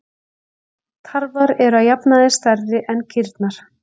Tarfar eru að jafnaði stærri en kýrnar.